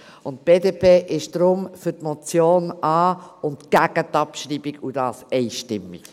Die BDP ist deshalb für die Annahme der Motion und gegen die Abschreibung, und das einstimmig.